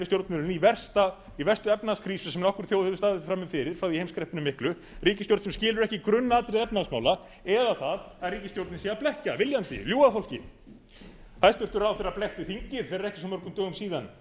hér við stjórnvölinn í verstu efnahagskrísu sem nokkur þjóð hefur staðið frammi fyrir þá í heimskreppunni miklu ríkisstjórn sem skilur ekki grunnatriði efnahagsmála eða það að ríkisstjórnin sé að blekkja viljandi ljúga að fólki hæstvirtur ráðherra blekkti þingið fyrir ekki svo mörgum dögum síðan